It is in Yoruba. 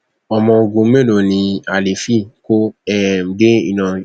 ọmọ ogun mélòó ni alifi kò um dé ìlọrin